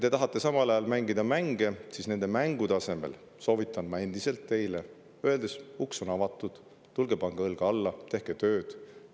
Teie tahate samal ajal mängida mänge, aga nende mängude asemel soovitan mina teile endiselt, et uks on avatud, tulge pange õlg alla ja tehke tööd.